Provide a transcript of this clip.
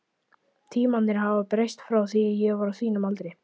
Tímarnir hafa breyst frá því ég var á þínum aldri.